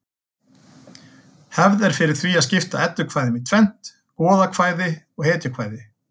Hefð er fyrir því að skipta eddukvæðum í tvennt: goðakvæði hetjukvæði